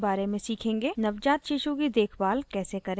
नवजात शिशु की देखभाल care करें